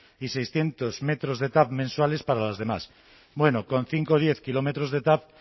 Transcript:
y seiscientos metros de tav mensuales para las demás bueno con cinco o diez kilómetros de tav